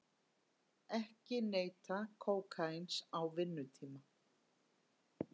Ekki neyta kókaíns á vinnutíma